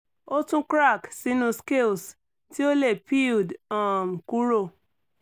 o tun crack sinu scales ti o le peeled um kuro